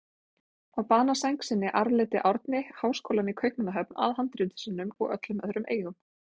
Á banasæng sinni arfleiddi Árni háskólann í Kaupmannahöfn að handritum sínum og öllum öðrum eigum.